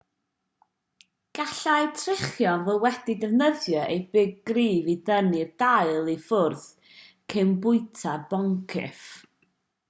gallai trichorn fod wedi defnyddio ei big cryf i dynnu'r dail i ffwrdd cyn bwyta'r boncyff